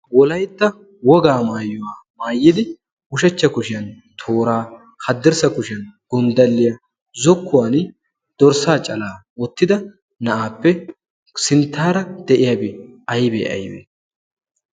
wolaitta wogaa maayiwaa maayidi ushachcha kushiyan tooraa haddirssa kushiyan gonddalliyaa zokkuwan dorssaa calaa oottida na7aappe sinttaara de7iyaabee aibee aibee?